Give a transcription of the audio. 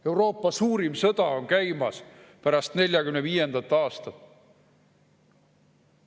Euroopa suurim sõda pärast 1945. aastat on käimas.